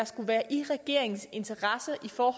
skulle være i regeringens interesse at få